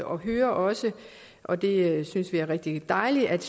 og hører også og det synes vi er rigtig dejligt at